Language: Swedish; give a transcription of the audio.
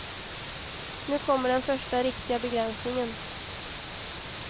Nu kommer den första riktiga begränsningen.